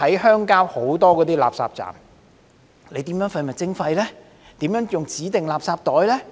鄉郊有很多垃圾站，當局如何執行廢物徵費，如何使用指定垃圾袋呢？